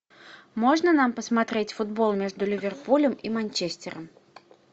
можно нам посмотреть футбол между ливерпулем и манчестером